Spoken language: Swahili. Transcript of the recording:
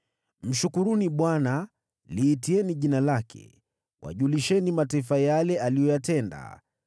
Mshukuruni Bwana , liitieni jina lake; wajulisheni mataifa yale aliyoyatenda.